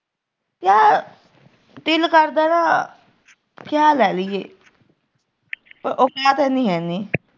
ਦਿਲ ਕਰਦਾ ਵਾ ਕਿ ਆ ਲੈ ਲਿਏ ਪਰ ਔਕਾਤ ਹੈਨੀ ਐ ਇੰਨੀ